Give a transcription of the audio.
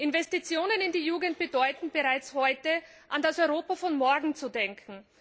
Investitionen in die Jugend bedeuten, bereits heute an das Europa von morgen zu denken.